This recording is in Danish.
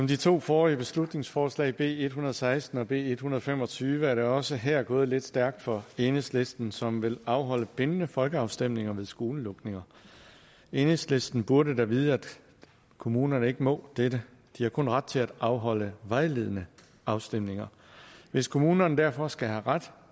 de to forrige beslutningsforslag b en hundrede og seksten og b en hundrede og fem og tyve er det også her gået lidt stærkt for enhedslisten som vil afholde bindende folkeafstemninger ved skolelukninger enhedslisten burde da vide at kommunerne ikke må dette de har kun ret til at afholde vejledende afstemninger hvis kommunerne derfor skal have ret